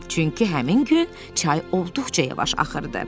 Çünki həmin gün çay olduqca yavaş axırdı.